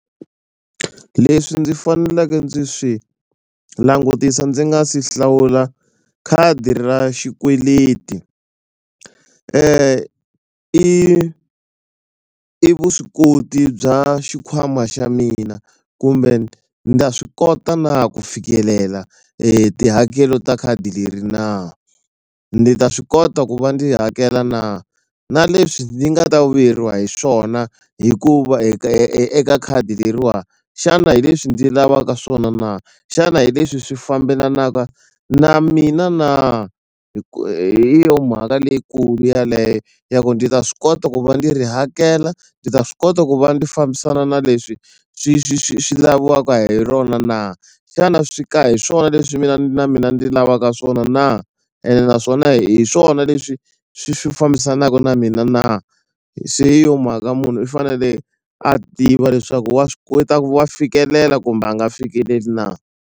Leswi ndzi faneleke ndzi swi langutisa ndzi nga se hlawula khadi ra xikweleti i i vuswikoti bya xikhwama xa mina kumbe na swi kota na ku fikelela tihakelo ta khadi leri na. Ni ta swi kota ku va ndzi hakela na na leswi ndzi nga ta vuyeriwa hi swona hikuva eka eka khadi leriwa xana hi leswi ndzi lavaka swona na xana hi leswi swi fambelanaka na mina na hi ku hi yo mhaka leyikulu yeleyo ya ku ndzi ta swi kota ku va ndzi ri hakela ndzi ta swi kota ku va ndzi fambisana na leswi swi swi swi swi laviwaka hi rona na xana swi ka hi swona leswi mina na mina ndzi lavaka swona na ene naswona hi swona leswi swi fambisanaka na mina na. Se hi yo mhaka munhu i fanele a tiva leswaku wa swi kota wa fikelela kumbe a nga fikeleli na.